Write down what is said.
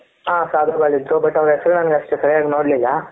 ಹ ಸಾಧುಗಳಿದ್ರೂ but ಅವರ ಹೆಸರು ನಾನು ಅಷ್ಟು ಸರಿಯಾಗಿ ನೋಡ್ಲಿಲ್ಲ,